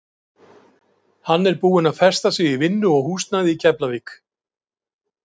Hann er búinn að festa sig í vinnu og húsnæði í Keflavík.